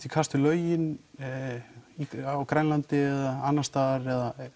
í kast við lögin á Grænlandi eða annars staðar